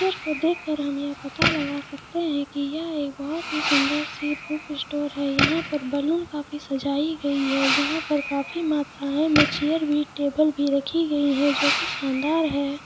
Picture को देख कर हम ये पता लगा सकते है की यह एक बहोत ही सुंदर सी बुक स्टोर है यहाँ पर बलून काफी सजायी गयी है यहाँ पे काफी मात्राए मैं चेयर भी टेबल भी रखी गयी है जो की शानदार है।